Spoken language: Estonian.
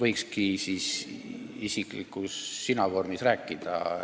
võiks minu poole isiklikult sinavormis pöörduda.